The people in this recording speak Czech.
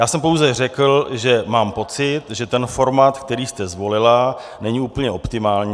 Já jsem pouze řekl, že mám pocit, že ten formát, který jste zvolila, není úplně optimální.